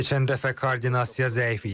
Keçən dəfə koordinasiya zəif idi.